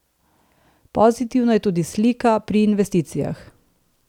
Pozitivna je tudi slika pri investicijah.